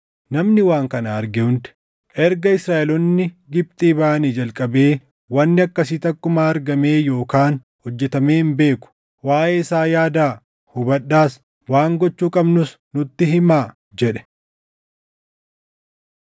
Namni waan kana arge hundi, “Erga Israaʼeloonni Gibxii baʼanii jalqabee wanni akkasii takkumaa argamee yookaan hojjetamee hin beeku. Waaʼee isaa yaadaa! Hubadhaas! Waan gochuu qabnus nutti himaa!” jedhe.